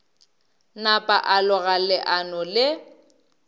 napa a loga leano le